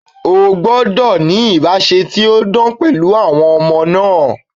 Ó gbọ́dọ̀ ní ìbáse tí ó dán pẹ̀lú àwọn ọmọ náà.